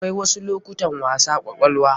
Akwai wasu lokutan wasa kwakwalwa.